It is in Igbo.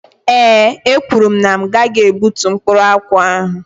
Ee ekwuru mụ na m gaghị egbútú mkpụrụ akwụ ahụ.